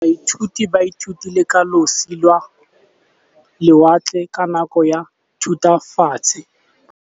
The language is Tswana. Baithuti ba ithutile ka losi lwa lewatle ka nako ya Thutafatshe.